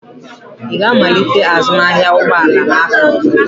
Ị ga-amalite azụmahịa ụgbọ ala n'afọ ọzọ?